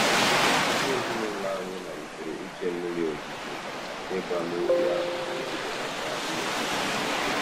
Ndị ezinụụlọ anyị malitere iche mmiri ozuzo maka ịgba n'ubi ahụ iji belata mmefu.